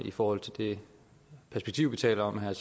i forhold til det perspektiv vi taler om her